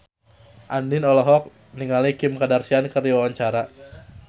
Andien olohok ningali Kim Kardashian keur diwawancara